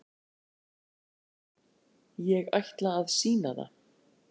Ég ætla að sýna það.